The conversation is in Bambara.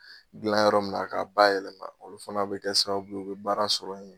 Dilan yɔrɔ min na, k'a ba yɛlɛma olu fana bɛ kɛ sababu ye, u bɛ baara sɔrɔ yen.